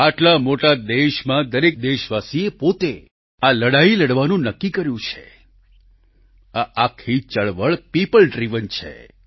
આટલા મોટા દેશમાં દરેક દેશવાસીએ પોતે આ લડાઈ લડવાનું નક્કી કર્યું છે આ આખી ચળવળ પીપલ ડ્રિવન છે